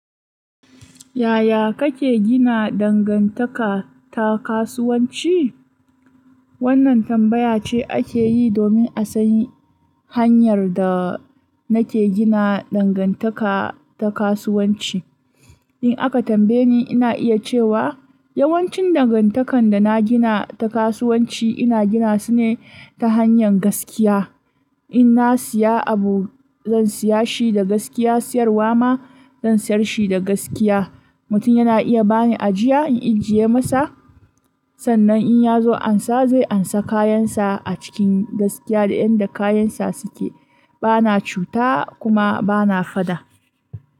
Yaya kake gina dangantaka ta kasuwanci? Wannan tambaya ce ake yi domin a sani hanyar da nake gina dangantaka ta kasuwanci. In aka tambaye ni, ina iya cewa yawancin dangantakan da na gina ta kasuwanci ina gina su ne ta hanyar gaskiya. In na siya abu, zan siya shi da gaskiya, siyarwa ma zan siyar shi da gaskiya. Mutum yana iya bani ajiya, in ijiye masa. Sannan in ya zo ansa, zai ansa kayansa a cikin gaskiya da yadda kayansa suke. Bana cuta kuma bana fada.